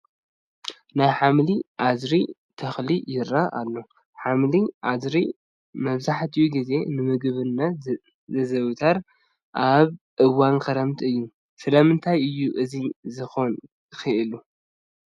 ናይ ሓምሊ ኣድሪ ተኽሊ ይርአ ኣሎ፡፡ ሓምሊ ኣድሪ መብዛሕትኡ ግዜ ንምግብነት ዝዝውተር ኣብ እዋን ክረምቲ እዩ፡፡ ስለምንታይ እዩ እዚ ክኾን ክኢሉ?